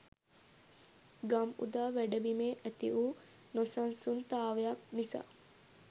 ගම්උදා වැඩබිමේ ඇති වූ නොසන්සුන්තාවයක් නිසා